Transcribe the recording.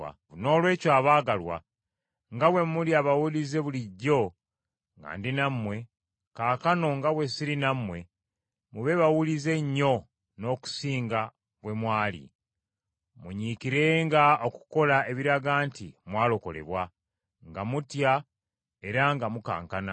Noolwekyo abaagalwa, nga bwe muli abawulize bulijjo nga ndi nammwe, kaakano nga bwe siri nammwe mube bawulize nnyo n’okusinga bwe mwali. Munyiikirenga okukola ebiraga nti mwalokolebwa, nga mutya era nga mukankana.